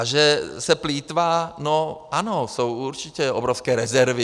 A že se plýtvá - no ano, jsou určitě obrovské rezervy.